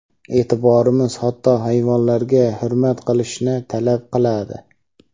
Eʼtiqodimiz hatto hayvonlarga hurmat ko‘rsatishni talab qiladi.